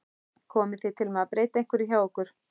Komið þið til með að breyta einhverju hjá ykkur?